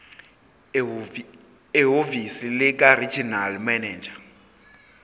ehhovisi likaregional manager